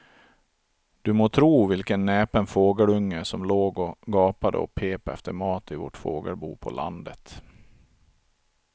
Du må tro vilken näpen fågelunge som låg och gapade och pep efter mat i vårt fågelbo på landet.